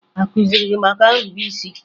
A kụziri gị maka nrube isi?